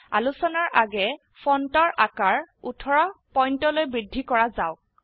আলোচনাৰ আগে ফন্টৰ আকাৰ ১৮ পইন্টলৈ বৃদ্ধি ক ৰা যাওক